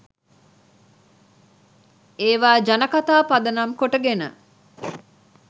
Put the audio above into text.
ඒවා ජනකතා පදනම් කොටගෙන